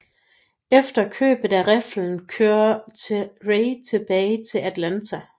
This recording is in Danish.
Efter købet af riflen kørte Ray tilbage til Atlanta